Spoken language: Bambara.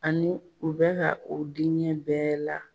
Ani u bɛ ka u diɲɛ bɛɛ la